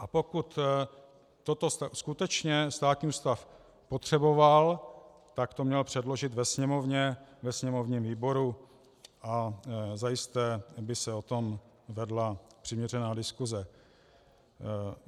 A pokud toto skutečně státní ústav potřeboval, tak to měl předložit ve Sněmovně, ve sněmovním výboru, a zajisté by se o tom vedla přiměřená diskuse.